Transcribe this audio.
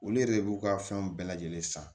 Olu yɛrɛ de b'u ka fɛnw bɛɛ lajɛlen san